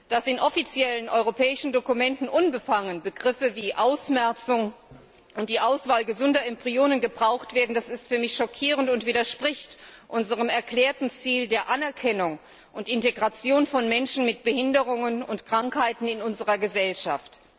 Dass in offiziellen europäischen Dokumenten unbefangen Begriffe wie Ausmerzung und die Auswahl gesunder Embryonen gebraucht werden, ist für mich schockierend und widerspricht unserem erklärten Ziel der Anerkennung und Integration von Menschen mit Behinderungen und Krankheiten in unserer Gesellschaft.